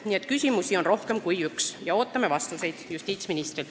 Nii et küsimusi on rohkem kui üks ja ootame justiitsministrilt vastuseid.